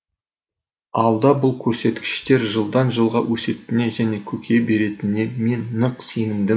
алда бұл көрсеткіштер жылдан жылға өсетініне және көркейе беретініне мен нық сенімдімін